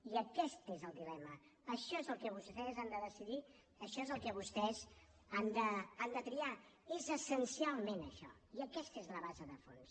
i aquest és el dilema això és el que vostès han de decidir això és el que vostès han de triar és essencialment això i aquesta és la base de fons